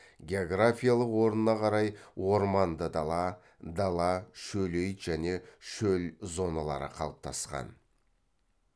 географиялық орнына қарай орманды дала дала шөлейт және шөл зоналары қалыптасқан